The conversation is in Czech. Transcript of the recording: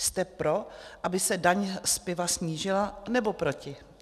Jste pro, aby se daň z piva snížila, nebo proti?